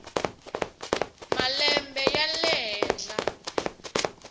na malembe ya le henhla